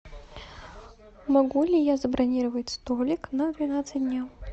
могу ли я забронировать столик на двенадцать дня